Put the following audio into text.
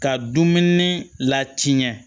Ka dumuni latiɲɛ